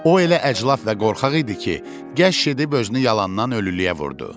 O elə əclaf və qorxaq idi ki, gəş edib özünü yalandan ölümə vurdu.